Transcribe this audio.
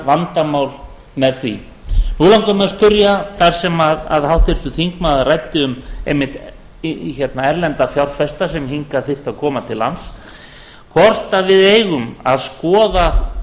vandamál með því nú langar mig að spyrja þar sem háttvirtur þingmaður ræddi um einmitt erlenda fjárfesta sem hingað þyrftu að koma til lands hvort við eigum að skoða